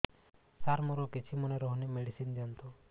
ସାର ମୋର କିଛି ମନେ ରହୁନି ମେଡିସିନ ଦିଅନ୍ତୁ